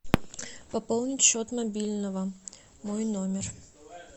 пополнить счет мобильного мой номер